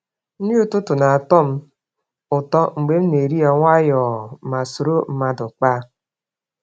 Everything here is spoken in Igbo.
Nri ụtụtụ na-atọ m ụtọ mgbe m na-eri ya nwayọọ ma soro mmadụ kpaa.